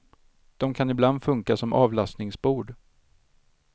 De kan ibland funka som avlastningsbord.